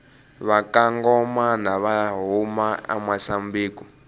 vakangomana vahhuma amusambiki